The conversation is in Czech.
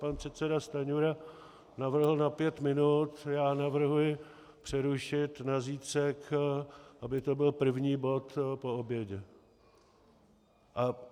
Pan předseda Stanjura navrhl na pět minut, já navrhuji přerušit na zítřek, aby to byl první bod po obědě.